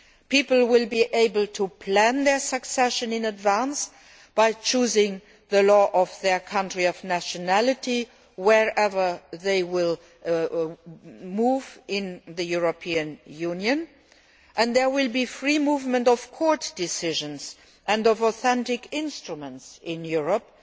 People will be able to plan their succession in advance by choosing the law of their country of nationality wherever they move in the European Union, and there will be free movement of court decisions and of authentic instruments in Europe.